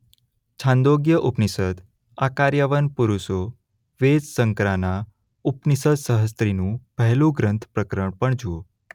છાંદોગ્ય ઉપનિષદ આકાર્યવન પુરુષો વેદ શંકરાના ઉપનિષદસહસ્ત્રીનું પહેલું ગ્રંથ પ્રકરણ પણ જુઓ.